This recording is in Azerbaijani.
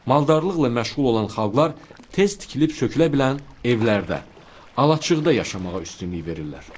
Maldarlıqla məşğul olan xalqlar tez tikilib sökülə bilən evlərdə, alaçıqda yaşamağa üstünlük verirlər.